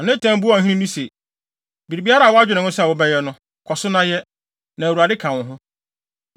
Na Natan buaa ɔhene no se, “Biribiara a woadwene ho sɛ wobɛyɛ no, kɔ so na yɛ, na Awurade ka wo ho.”